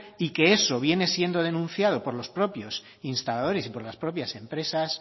y que eso viene siendo denunciado por los propios instaladores y por las propias empresas